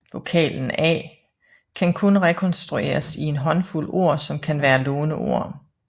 Vokalen a kan kun rekonstrueres i en håndfuld ord som kan være låneord